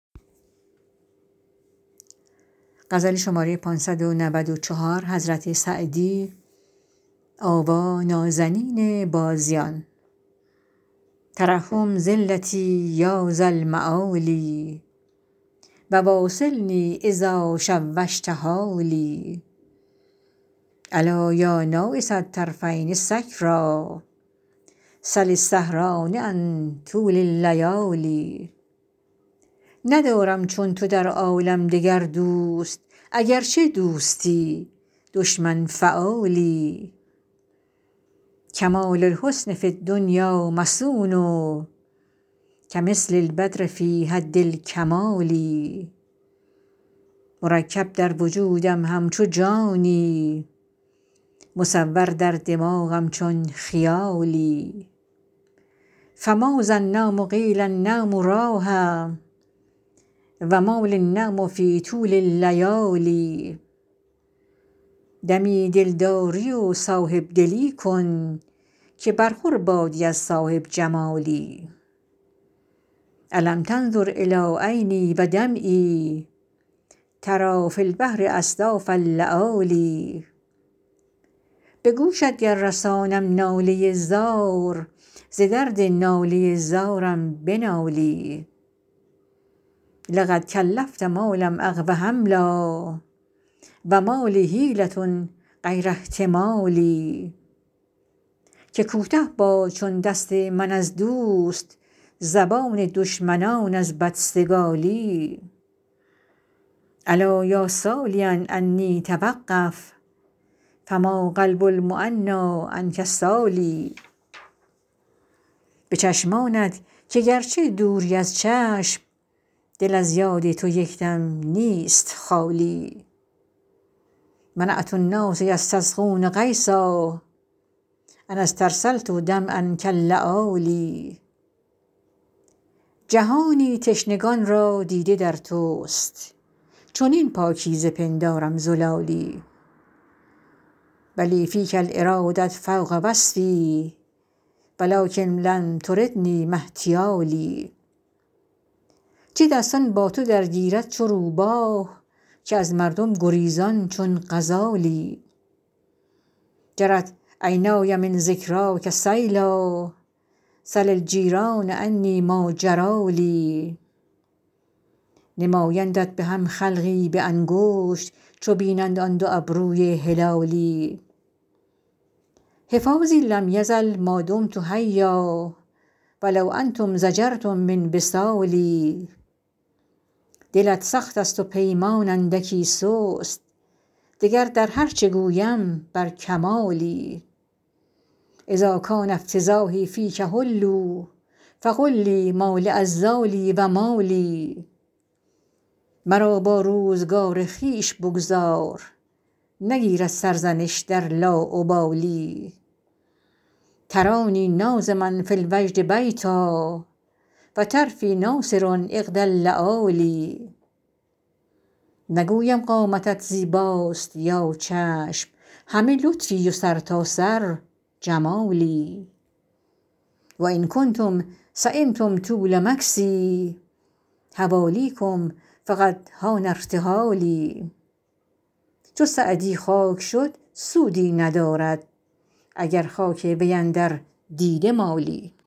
ترحم ذلتی یا ذا المعالی و واصلنی اذا شوشت حالی ألا یا ناعس الطرفین سکریٰ سل السهران عن طول اللیالی ندارم چون تو در عالم دگر دوست اگرچه دوستی دشمن فعالی کمال الحسن فی الدنیا مصون کمثل البدر فی حد الکمال مرکب در وجودم همچو جانی مصور در دماغم چون خیالی فماذا النوم قیل النوم راحه و ما لی النوم فی طول اللیالی دمی دلداری و صاحب دلی کن که برخور بادی از صاحب جمالی ألم تنظر إلی عینی و دمعی تری فی البحر أصداف اللآلی به گوشت گر رسانم ناله زار ز درد ناله زارم بنالی لقد کلفت ما لم أقو حملا و ما لی حیلة غیر احتمالی که کوته باد چون دست من از دوست زبان دشمنان از بدسگالی الا یا سالیا عنی توقف فما قلب المعنیٰ عنک سال به چشمانت که گرچه دوری از چشم دل از یاد تو یک دم نیست خالی منعت الناس یستسقون غیثا أن استرسلت دمعا کاللآلی جهانی تشنگان را دیده در توست چنین پاکیزه پندارم زلالی و لی فیک الإراده فوق وصف و لکن لم تردنی ما احتیالی چه دستان با تو درگیرد چو روباه که از مردم گریزان چون غزالی جرت عینای من ذکراک سیلا سل الجیران عنی ما جری لی نمایندت به هم خلقی به انگشت چو بینند آن دو ابروی هلالی حفاظی لم یزل ما دمت حیا و لو انتم ضجرتم من وصالی دلت سخت است و پیمان اندکی سست دگر در هر چه گویم بر کمالی اذا کان افتضاحی فیک حلوا فقل لی ما لعذالی و ما لی مرا با روزگار خویش بگذار نگیرد سرزنش در لاابالی ترانی ناظما فی الوجد بیتا و طرفی ناثر عقد اللآلی نگویم قامتت زیباست یا چشم همه لطفی و سرتاسر جمالی و ان کنتم سیمتم طول مکثی حوالیکم فقد حان ارتحالی چو سعدی خاک شد سودی ندارد اگر خاک وی اندر دیده مالی